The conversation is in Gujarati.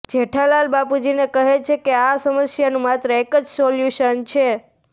જેઠાલાલ બાપુજીને કહે છે કે આ સમસ્યાનું માત્ર એક જ સોલ્યુશન છે